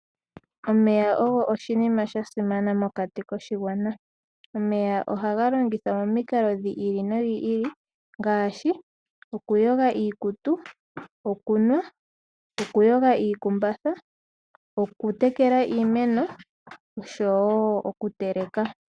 Omeya ogo oshinima sha simana mokati koshigwana. Omeya ohaga longithwa momikalo dhi ili nodhi ili ngaashi okuyoga iikutu, okunwa, okuyoga iikumbatha, okutekela iimeno nosho wo okuteleka.